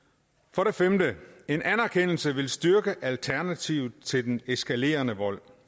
for det femte en anerkendelse vil styrke alternativet til den eskalerende vold